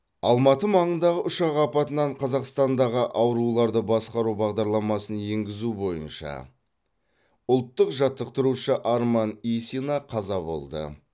алматы маңындағы ұшақ апатынан қазақстандағы ауруларды басқару бағдарламасын енгізу бойынша ұлттық жаттықтырушы арман исина қаза болды